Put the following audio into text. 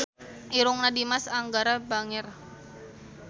Irungna Dimas Anggara bangir